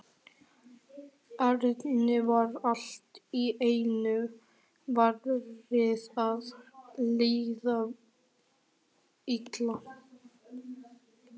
Erni var allt í einu farið að líða illa.